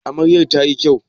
Amaryan ta yi kyau?